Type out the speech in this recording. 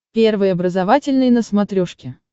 первый образовательный на смотрешке